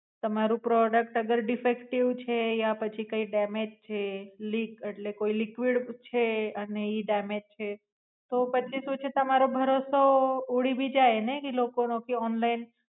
તમારું product અગર defective છે યા પછી કઈ ડેમેજ છ liquid એટલે કોઈ Liquid છે અને ઈ ડેમેજ છે. તો પછી શું છે તમારો ભરોસો ઉડી ભી જાય ને કે લોકો કે ઓનલાઇન